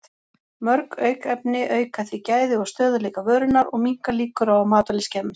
Mörg aukefni auka því gæði og stöðugleika vörunnar og minnka líkur á að matvæli skemmist.